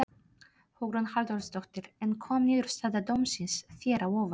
Hugrún Halldórsdóttir: En kom niðurstaða dómsins þér á óvart?